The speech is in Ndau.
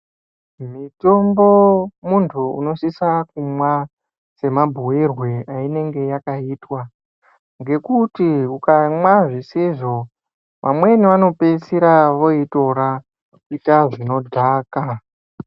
Mitombo muntu unosisa kumwa semabhuirwe ainenge yakaita. Ngekuti ukamwa zvisizvo vamweni vanopeisera voitora kuita zvinodhaka.